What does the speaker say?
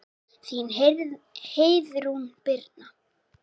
Þín Heiðrún Birna.